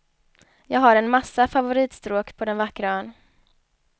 Jag har en massa favoritstråk på den vackra ön.